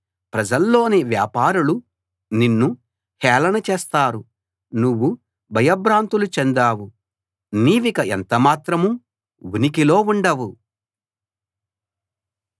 ప్రజల్లోని వ్యాపారులు నిన్నుహేళన చేస్తారు నువ్వు భయభ్రాంతులు చెందావు నీవిక ఎంత మాత్రం ఉనికిలో ఉండవు